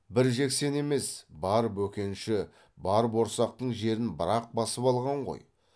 бір жексен емес бар бөкенші бар борсақтың жерін бір ақ басып алған ғой